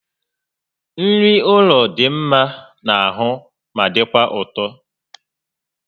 Nri ụlọ dị mma n'ahụ ma dịkwa ụtọ